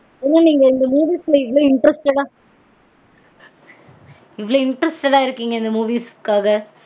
இவ்லொ interested இருக்கீங்க இந்த movies காஹ அப்டினா இந்த movies லா இவ்லொ interested ஆ